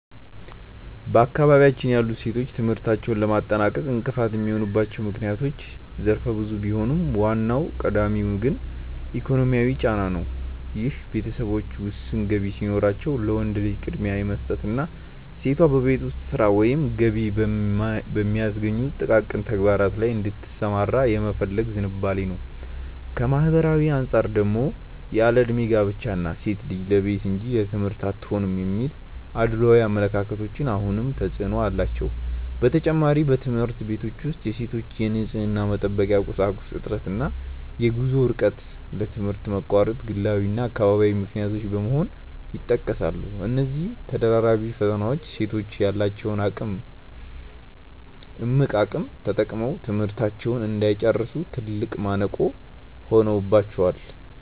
በአካባቢያችን ያሉ ሴቶች ትምህርታቸውን ለማጠናቀቅ እንቅፋት የሚሆኑባቸው ምክንያቶች ዘርፈ ብዙ ቢሆኑም፣ ዋናውና ቀዳሚው ግን ኢኮኖሚያዊ ጫና ነው፤ ይህም ቤተሰቦች ውስን ገቢ ሲኖራቸው ለወንድ ልጅ ቅድሚያ የመስጠትና ሴቷ በቤት ውስጥ ሥራ ወይም ገቢ በሚያስገኙ ጥቃቅን ተግባራት ላይ እንድትሰማራ የመፈለግ ዝንባሌ ነው። ከማኅበራዊ አንጻር ደግሞ ያለዕድሜ ጋብቻ እና "ሴት ልጅ ለቤት እንጂ ለትምህርት አትሆንም" የሚሉ አድሏዊ አመለካከቶች አሁንም ተፅዕኖ አላቸው። በተጨማሪም፣ በትምህርት ቤቶች ውስጥ የሴቶች የንፅህና መጠበቂያ ቁሳቁስ እጥረት እና የጉዞ ርቀት ለትምህርት መቋረጥ ግላዊና አካባቢያዊ ምክንያቶች በመሆን ይጠቀሳሉ። እነዚህ ተደራራቢ ፈተናዎች ሴቶች ያላቸውን እምቅ አቅም ተጠቅመው ትምህርታቸውን እንዳይጨርሱ ትልቅ ማነቆ ሆነውባቸዋል።